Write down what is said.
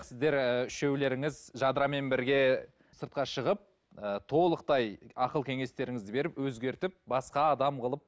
сіздер ііі үшеулеріңіз жадырамен бірге сыртқа шығып ы толықтай ақыл кеңестеріңізді беріп өзгертіп басқа адам қылып